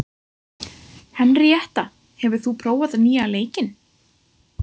Henríetta, hefur þú prófað nýja leikinn?